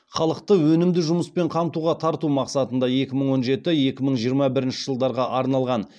халықты өнімді жұмыспен қамтуға тарту мақсатында екі мың он жеті екі мың жиырма бірінші жылдарға арналған